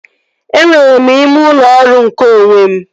Enwere m ime ụlọ ọrụ nke onwe m